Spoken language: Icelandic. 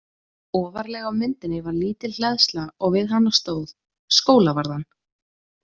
Ofarlega á myndinni var lítil hleðsla og við hana stóð: Skólavarðan.